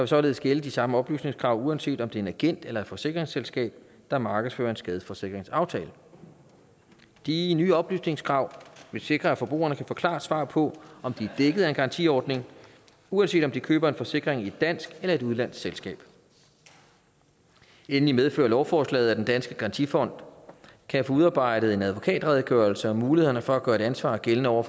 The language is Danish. således gælde de samme oplysningskrav uanset om det er en agent eller forsikringsselskab der markedsfører en skadesforsikringsaftale de nye oplysningskrav vil sikre at forbrugerne kan få klart svar på om de er dækket af en garantiordning uanset om de køber en forsikring i et dansk eller et udenlandsk selskab endelig medfører lovforslaget at den danske garantifond kan få udarbejdet en advokatredegørelse om mulighederne for at gøre et ansvar gældende over